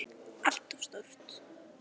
ALLT OF STÓR!